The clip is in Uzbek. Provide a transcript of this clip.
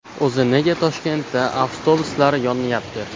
O‘zi nega Toshkentda avtobuslar yonyapti?